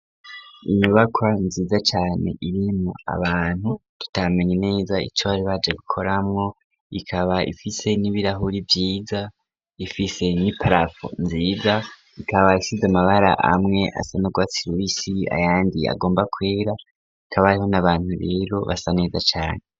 inyubakwa nziza cyane irimwo abantu tutamenye neza ico bari baje gikoramwo ikaba ifise n'ibirahuri vyiza ifise n'iparaprafo nziza ikaba isize amabara amwe asa n'urwatsi rubisi ayandi agomba kwera ikaba iriho n'abantu rero basa neza cane